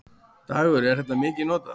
Dagur: Er þetta mikið notað?